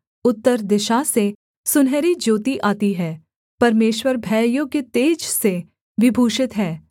उत्तर दिशा से सुनहरी ज्योति आती है परमेश्वर भययोग्य तेज से विभूषित है